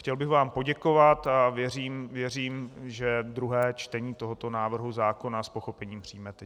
Chtěl bych vám poděkovat a věřím, že druhé čtení tohoto návrhu zákona s pochopením přijmete.